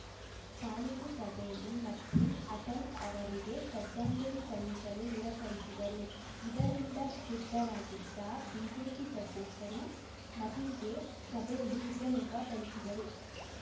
ಪಾಲಿಕೆ ಸಭೆಯಲ್ಲಿ ಮತೀನ್‌ ಅಟಲ್‌ ಅವರಿಗೆ ಶ್ರದ್ಧಾಂಜಲಿ ಸಲ್ಲಿಸಲು ನಿರಾಕರಿಸಿದ್ದರು ಇದರಿಂದ ಕ್ರುದ್ಧರಾಗಿದ್ದ ಬಿಜೆಪಿ ಸದಸ್ಯರು ಮತೀನ್‌ಗೆ ಸಭೆಯಲ್ಲೇ ಹಿಗ್ಗಾಮುಗ್ಗಾ ಥಳಿಸಿದ್ದರು